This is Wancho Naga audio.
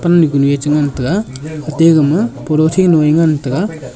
kanu ye chi ngantaga ate gama polythene luye ngantaga.